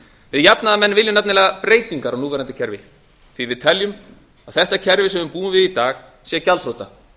við jafnaðarmenn viljum nefnilega breytingar á núverandi kerfi því við teljum að þetta kerfi sem við búum við í dag sé gjaldþrota